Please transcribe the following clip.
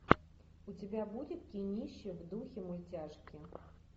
у тебя будет кинище в духе мультяшки